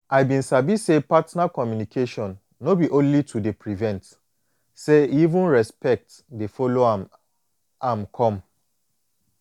i been sabi say partner communication no be only to dey prevent say even respect dey follow am am come